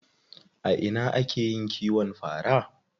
A ina ake yin kiwon fara?